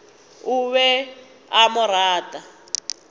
o be a mo rata